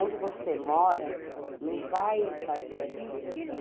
Onde você mora não vai fazer a diferença.